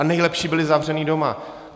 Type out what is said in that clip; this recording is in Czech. A nejlepší, byli zavřeni doma.